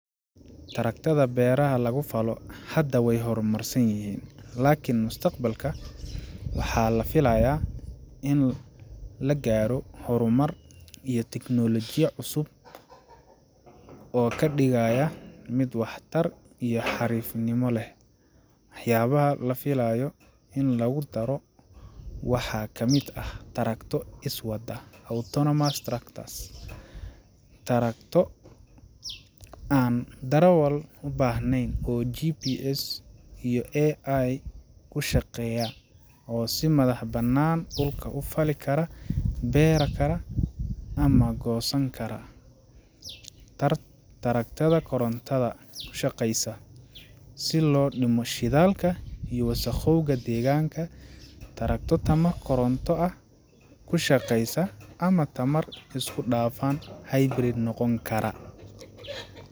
Taraktarada beraha lagu falo hadda wey horumarsan yihiin, laakiin mustaqbalka waxaa la filayaa in la gaaro horumar iyo teknoolojiya cusub oo ka dhigaya mid waxtar iyo xariifnimo leh. Waxyaabaha la filayo in lagu daro waxaa ka mid ah: Taraktarro iswada Autonomous tractors: Taraktarro aan darawal u baahnayn oo GPS iyo AI ku shaqeeya oo si madax-bannaan dhulka u fali kara, beera kara, ama goosan kara. Tarakatarada korontada ku shaqeysa: Si loo dhimo shidaalka iyo wasakhowga deegaanka, tarakto tamo koronto ah ku shaqeysa ama tamar isku-dhafan hybrid noqon kara.